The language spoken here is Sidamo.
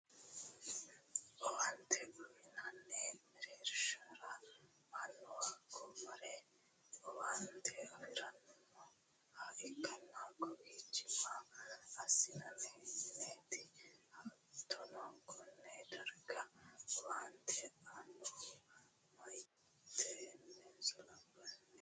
owaante uyinanni mereershira mannu hakko mare owaante afiranni nooha ikkanna, kowiichi maa assinanni mineeti? hattono konne darga owaante aannohu meyaatenso labbaaho?